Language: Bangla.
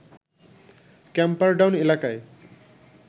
ক্যাম্পারডাউন এলাকায়